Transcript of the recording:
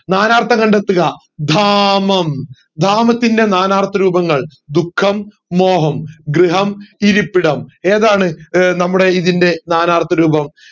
നാനാർത്ഥം കണ്ടെത്തുക ധാമം ധാമത്തിന്റെ നാനാർത്ഥ രൂപങ്ങൾ ദുഃഖം മോഹം ഗൃഹം ഇരിപ്പിടം ഏതാണ് ഏർ നമ്മുടെ ഇതിന്റെ നാനാർത്ഥ രൂപം